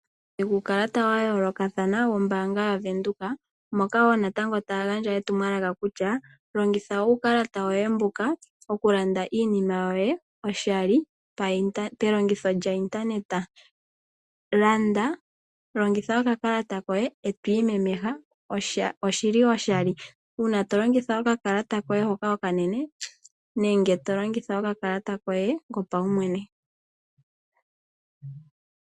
Uukalata wa yoolokathana wombaanga yaVenduka moka wo natango taya gandja etumwalaka kutya longitha uukalata woye mbuka okulanda iinima yoye oshali pelongitho lyointaneta. Landa, longitha okakalata koye e to imemeha, oshoshali uuna to longitha okakalata koye hoka okanene nenge to longitha okakalata koye kopaumwene.